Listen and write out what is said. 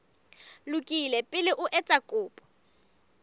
lokile pele o etsa kopo